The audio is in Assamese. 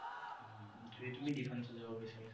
যদি তুমি defense ত যাব বিছাৰিছা।